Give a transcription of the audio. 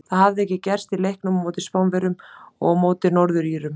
Það hafði ekki gerst í leiknum á móti Spánverjum og á móti Norður Írum.